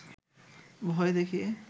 ভয় দেখিয়ে